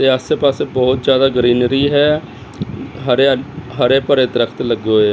ਤੇ ਆਸੇ ਪਾਸੇ ਬਹੁਤ ਜਿਆਦਾ ਗ੍ਰੀਨਰੀ ਹੈ ਹਰਿਆ ਹਰੇ ਭਰੇ ਦਰਖਤ ਲੱਗੇ ਹੋਏ--